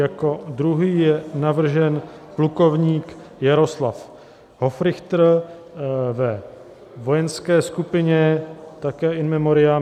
Jako druhý je navržen plukovník Jaroslav Hofrichter ve vojenské skupině, také in memoriam.